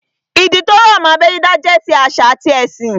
Ìdí tó rọ̀ mọ́ abẹ́ dídá jẹ́ ti àṣà àti ẹ̀sìn